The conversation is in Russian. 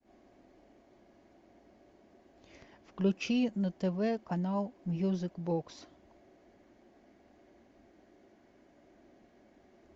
включи на тв канал мьюзик бокс